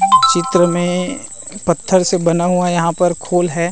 चित्र में पत्थर से बना हुआ यहाँ पे खोल है।